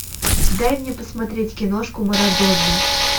дай мне посмотреть киношку марадона